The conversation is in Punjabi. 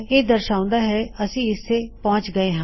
ਇਹ ਦਰਸ਼ਾਉਦਾ ਹੈ ਅਸੀ ਇਥੇ ਪਹੁੰਚ ਗਏ ਹਾਂ